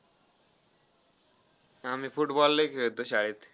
आम्ही football लय खेळतो शाळेत.